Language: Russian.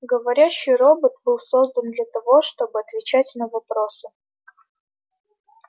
говорящий робот был создан для того чтобы отвечать на вопросы